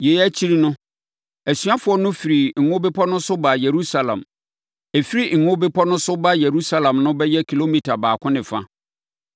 Yei akyi no, asuafoɔ no firii Ngo Bepɔ no so baa Yerusalem. Ɛfiri Ngo Bepɔ no so ba Yerusalem no bɛyɛ kilomita baako ne fa.